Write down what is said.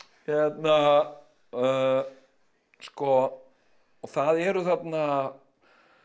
hérna sko það eru þarna